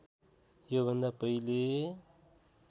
यो भन्दा पहिले